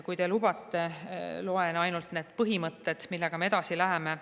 Kui te lubate, loen ette ainult need põhimõtted, millega me edasi läheme.